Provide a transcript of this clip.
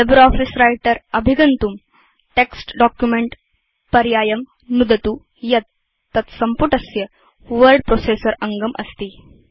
LibreOffice Writerअभिगन्तुं text Documentपर्यायं नुदतु यत् तत्सम्पुटस्य वर्ड प्रोसेसर अङ्गम् अस्ति